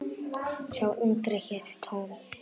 Sá yngri hét Tom.